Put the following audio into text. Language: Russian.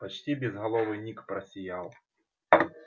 почти безголовый ник просиял